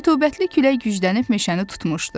Rütubətli külək güclənib meşəni tutmuşdu.